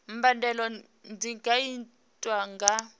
mbadelo dzi nga itwa nga